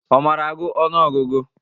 Ọ mara agụ ọnụ ọgụgụ?